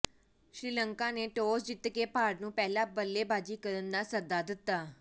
ਸ੍ਰੀਲੰਕਾ ਨੇ ਟਾਸ ਜਿੱਤ ਕੇ ਭਾਰਤ ਨੂੰ ਪਹਿਲਾਂ ਬੱਲੇਬਾਜ਼ੀ ਕਰਨ ਦਾ ਸੱਦਾ ਦਿੱਤਾ